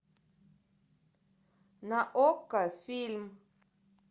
на окко фильм